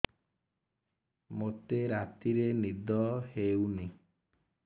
ମୋତେ ରାତିରେ ନିଦ ହେଉନି